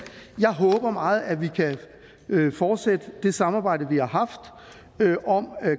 jeg håber meget at vi kan fortsætte det samarbejde vi har haft om